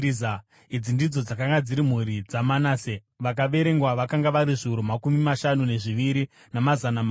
Idzi ndidzo dzakanga dziri mhuri dzaManase; vakaverengwa vakanga vari zviuru makumi mashanu nezviviri, namazana manomwe.